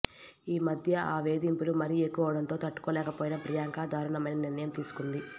ఈ మధ్య ఆ వేదింపులు మరీ ఎక్కువవడంతో తట్టుకోలేకపోయిన ప్రియాంక దారుణమైన నిర్ణయం తీసుకుంది